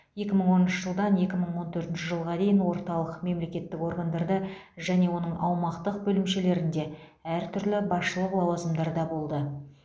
екі мың оныншы жылдан екі мың он төртінші жылға дейін орталық мемлекеттік органдарда және оның аумақтық бөлімшелерінде әртүрлі басшылық лауазымдарда болды